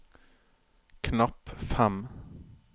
knapp fem